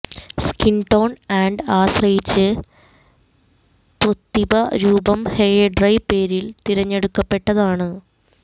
skin tone and ആശ്രയിച്ച് ത്സ്വെതൊതിപ രൂപം ഹെയർ ഡൈ പേരിൽ തെരഞ്ഞെടുക്കപ്പെട്ടതാണ്